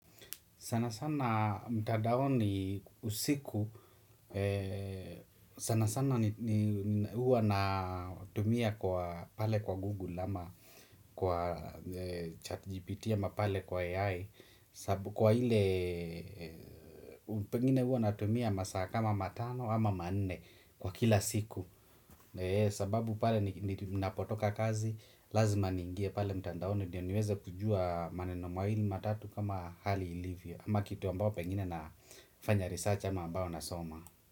Sana sana mtandaoni usiku sana sana ni huwa natumia kwa pale kwa Google ama kwa chat GPT ama pale kwa AI sabu kwa hile pengine huwa natumia masaa kama matano ama nne kwa kila siku sababu pale ninapotoka kazi lazima niingie pale mtandoni ndio niweze kujua maneno mawili, matatu kama hakli ilivyo ama kitu ambayo pengine nafanya risachi ama ambayo nasoma.